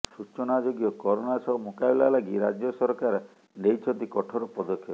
ସୂଚନାଯୋଗ୍ୟ କରୋନା ସହ ମୁକାବିଲା ଲାଗି ରାଜ୍ୟ ସରକାର ନେଇଛନ୍ତି କଠୋର ପଦକ୍ଷେପ